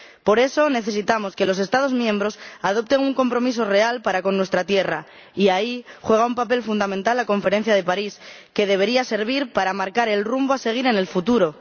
Por eso necesitamos que los Estados miembros adopten un compromiso real para con nuestra tierra, y ahí juega un papel fundamental la Conferencia de París, que debería servir para marcar el rumbo a seguir en el futuro